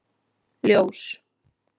Ljós